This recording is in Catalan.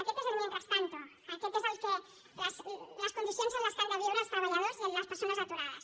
aquest és el mientras tanto aquestes són les condicions en què han de viure els treballadors i les persones aturades